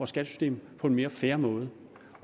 skattesystem på en mere fair måde